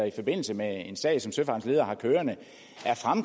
i forbindelse med en sag som søfartens ledere har kørende er